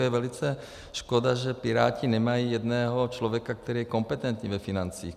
Je velice škoda, že Piráti nemají jednoho člověka, který je kompetentní ve financích.